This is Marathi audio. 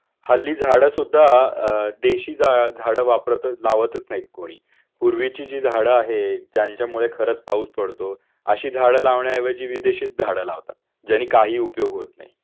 हल्ली झाड सुद्धा अ देशी झाड वापरतच अ लावंतच नाही कुणी पूर्वीची जी झाड आहेत ज्यांच्यामुळे खरच पाऊस पडतो अशी झाड लावण्या ऐवजी विदेशीच झाड लावतात ज्यानी काही उपयोग होत नाही